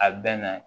A bɛ na